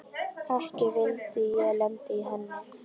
Ekki vildi ég lenda í henni!